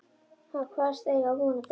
Hann kvaðst eiga von á þremur